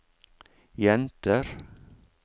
jenter